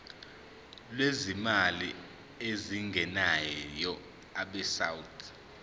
lwezimali ezingenayo abesouth